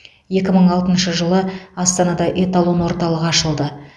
екі мың алтыншы жылы астанада эталон орталығы ашылды